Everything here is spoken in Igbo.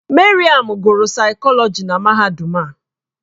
Maryam gụrụ saịkọlọji na mahadum a.